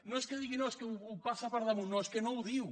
no és que digui no és que ho passa per damunt no és que no ho diu